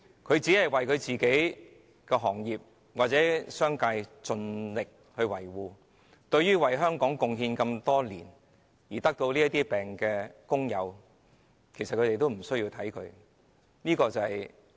他竭力維護自己業界及商界的利益，對為香港貢獻多年而患病的工友，卻完全視若無睹。